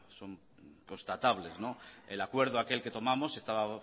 son constatables el acuerdo aquel que tomamos estaba